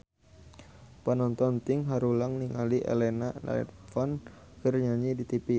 Panonton ting haruleng ningali Elena Levon keur nyanyi di tipi